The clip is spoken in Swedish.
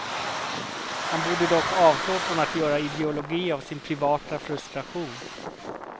Han borde dock avstå från att göra ideologi av sin privata frustration.